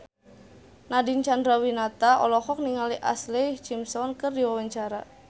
Nadine Chandrawinata olohok ningali Ashlee Simpson keur diwawancara